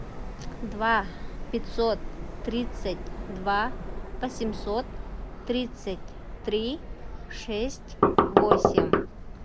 два пятьсот тридцать два восемьсот тридцать три шесть восемь